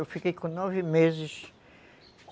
Eu fiquei com nove meses.